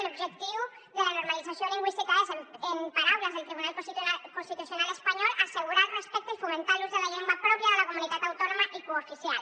l’objectiu de la normalització lingüística és en paraules del tribunal constitucional espanyol assegurar el respecte i fomentar l’ús de la llengua pròpia de la comunitat autònoma i cooficial